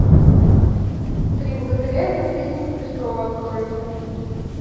три богатыря и наследница престола открой мне